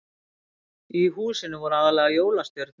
Í húsinu voru aðallega jólastjörnur